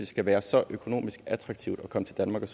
skal være så økonomisk attraktivt at komme til danmark og